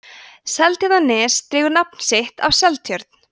seltjarnarnes dregur nafn sitt af seltjörn